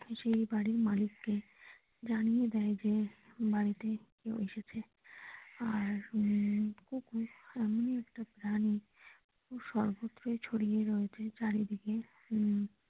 সেই বাড়ির মালিককে জানিয়ে দেয় যে বাড়িতে কেউ এসেছে আর উম কুকুর এমনই একটা প্রাণী যে সর্বত্র ছড়িয়ে রয়েছে চারিদিকে।